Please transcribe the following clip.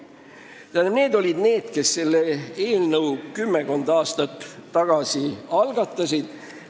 Need olid inimesed, kes selle eelnõu kümmekond aastat tagasi algatasid.